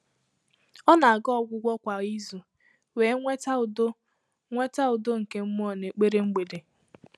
Ọ́ nà-àgà ọ́gwụ́gwọ́ kwá ízù wèé nwètá údo nwètá údo nké mmụ́ọ́ n’ékpèré mgbèdé.